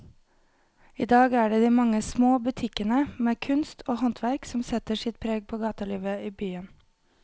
I dag er det de mange små butikkene med kunst og håndverk som setter sitt preg på gatelivet i byen.